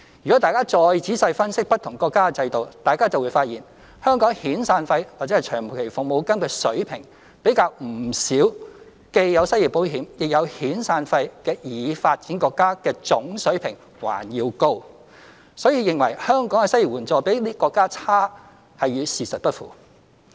若大家再仔細分析不同國家的制度，就會發現香港遣散費/長期服務金的水平，比不少既有失業保險亦有遣散費的已發展國家的總水平還要高，所以認為香港的失業援助比這些國家差，是與事實不符。